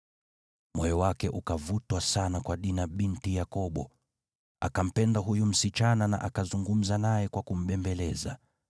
Moyo wake ukavutwa sana kwa Dina binti Yakobo, akampenda huyu msichana na akazungumza naye kwa kumbembeleza.